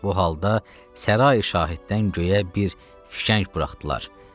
Bu halda sərai şahiddən göyə bir fişəng buraxdılar.